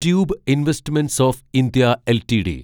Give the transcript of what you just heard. tube investments of India LTD